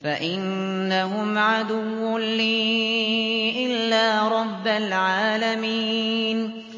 فَإِنَّهُمْ عَدُوٌّ لِّي إِلَّا رَبَّ الْعَالَمِينَ